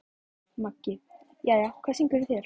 Maggi: Jæja, hvað syngur í þér?